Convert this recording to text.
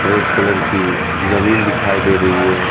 Red colour की जमीन दिखाई दे रही है।